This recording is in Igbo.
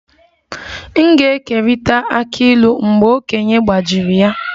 M ga-ekerịta akị ịlu mgbe okenye gbajiri ya